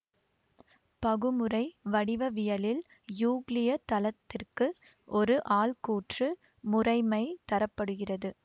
பகுமுறை வடிவவியலில் யூக்ளிய தளத்திற்கு ஒரு ஆள்கூற்று முறைமை தர படுகிறது